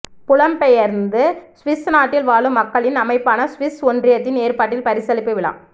புலம் பெயர்ந்து சுவிஸ் நாட்டில் வாழும் மக்களின் அமைப்பான சுவிஸ் ஒன்றியத்தின் ஏற்பாட்டில் பரிசளிப்பு விழா